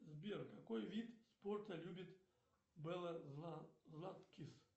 сбер какой вид спорта любит белла златкис